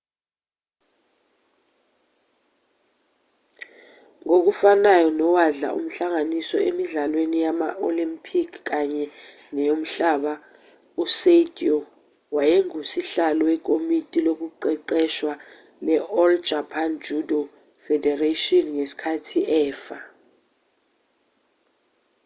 ngokufanayo nowadla umhlanganiso emidlalweni yama olempikhi kanye neyomhlaba u-saito wayengusihlalo wekomiti lokuqeqeshwa le-all japan judo federation ngesikhathi efa